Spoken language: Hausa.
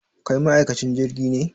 Kai ma'aikacin jirgin ne?